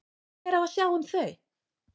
Hver á að sjá um þau?